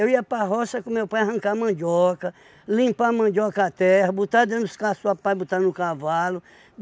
ia para roça com meu pai arrancar mandioca, limpar a mandioca a terra, botar dentro dos caçoar, pai botar no cavalo.